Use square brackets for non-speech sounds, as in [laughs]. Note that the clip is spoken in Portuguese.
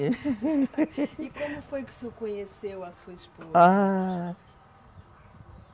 [laughs] E como foi que o senhor conheceu a sua esposa? Ahh